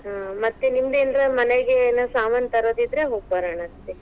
ಹಾ ಮತ್ತೇ ನೀಮ್ದ ಏನರ ಮನೆಗ ಏನರ ಸಾಮಾನ ತರೊದಿದ್ರ ಹೋಗ ಬರೋಣಂತ್ರಿ.